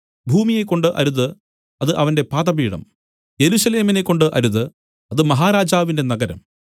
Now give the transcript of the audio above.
ഭൂമിയെക്കൊണ്ട് അരുത് അത് അവന്റെ പാദപീഠം യെരൂശലേമിനെക്കൊണ്ട് അരുത് അത് മഹാരാജാവിന്റെ നഗരം